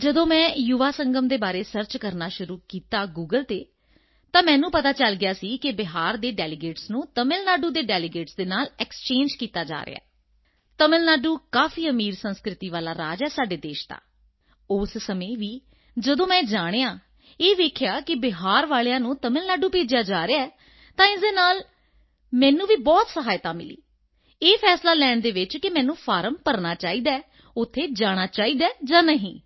ਜਦੋਂ ਮੈਂ ਯੁਵਾ ਸੰਗਮ ਦੇ ਬਾਰੇ ਸਰਚ ਕਰਨਾ ਸ਼ੁਰੂ ਕੀਤਾ ਗੂਗਲ ਤੇ ਤਾਂ ਮੈਨੂੰ ਪਤਾ ਚਲ ਗਿਆ ਸੀ ਕਿ ਬਿਹਾਰ ਦੇ ਡੈਲੀਗੇਟਸ ਨੂੰ ਤਮਿਲ ਨਾਡੂ ਦੇ ਡੈਲੀਗੇਟਸ ਨਾਲ ਐਕਸਚੇਂਜ ਕੀਤਾ ਜਾ ਰਿਹਾ ਹੈ ਤਮਿਲ ਨਾਡੂ ਕਾਫੀ ਅਮੀਰ ਸੰਸਕ੍ਰਿਤੀ ਵਾਲਾ ਰਾਜ ਹੈ ਸਾਡੇ ਦੇਸ਼ ਦਾ ਉਸ ਸਮੇਂ ਵੀ ਜਦੋਂ ਮੈਂ ਇਹ ਜਾਣਿਆ ਇਹ ਦੇਖਿਆ ਕਿ ਬਿਹਾਰ ਵਾਲਿਆਂ ਨੂੰ ਤਮਿਲ ਨਾਡੂ ਭੇਜਿਆ ਜਾ ਰਿਹਾ ਹੈ ਤਾਂ ਇਸ ਨਾਲ ਵੀ ਮੈਨੂੰ ਬਹੁਤ ਸਹਾਇਤਾ ਮਿਲੀ ਇਹ ਫ਼ੈਸਲਾ ਲੈਣ ਵਿੱਚ ਕਿ ਮੈਨੂੰ ਫਾਰਮ ਭਰਨਾ ਚਾਹੀਦਾ ਹੈ ਉੱਥੇ ਜਾਣਾ ਚਾਹੀਦਾ ਹੈ ਜਾਂ ਨਹੀਂ